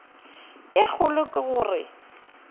ye kgolo ke go re